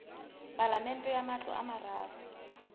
palamente ya matlo a mararo